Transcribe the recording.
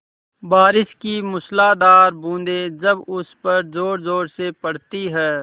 बारिश की मूसलाधार बूँदें जब उस पर ज़ोरज़ोर से पड़ती हैं